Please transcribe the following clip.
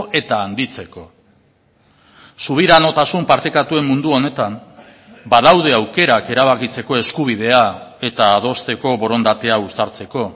eta handitzeko subiranotasun partekatuen mundu honetan badaude aukerak erabakitzeko eskubidea eta adosteko borondatea uztartzeko